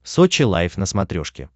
сочи лайв на смотрешке